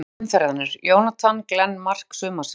Mark umferðarinnar: Jonathan Glenn Mark sumarsins?